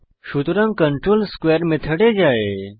সুতরাং কন্ট্রোল স্কোয়ারে মেথডে যায়